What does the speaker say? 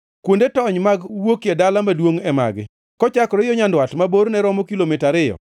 “Kuonde tony mag wuokie dala maduongʼ e magi: “Kochakore yo nyandwat, ma borne romo kilomita ariyo,